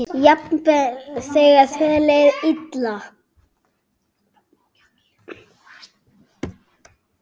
Jafnvel þegar þér leið illa.